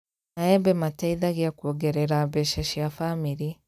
Maembe mateithagĩa kuongerera mbeca cia bamĩrĩ